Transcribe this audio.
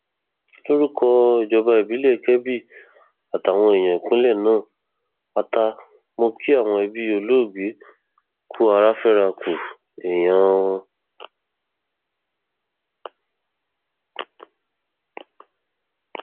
lórúkọ ìjọba ìbílẹ kebbi àtàwọn èèyàn ìpínlẹ náà pátá mọ kí àwọn ẹbí olóògbé kù ara fẹra ku èèyàn wọn